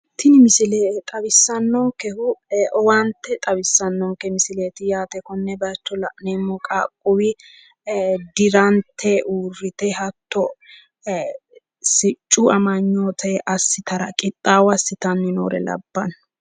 Tini misile xawissannonkehu owaante xawissannonke misileeti yaate. Konne bayicho la'neemmo qaaqquulli dirante uurrite hatto siccu amanyoote assitara qixxaawo assitanni noore labbanno.